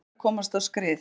Álver að komast á skrið